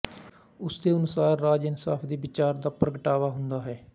ਉਸ ਦੇ ਅਨੁਸਾਰ ਰਾਜ ਇਨਸਾਫ਼ ਦੇ ਵਿਚਾਰ ਦਾ ਪ੍ਰਗਟਾਵਾ ਹੁੰਦਾ ਹੈ